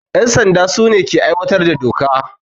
Yan sanda su ne ke aiwatar da doka.